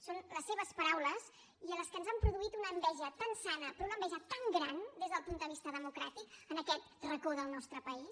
són les seves paraules i que ens han produït una enveja tan sana però una enveja tan gran des del punt de vista democràtic en aquest racó del nostre país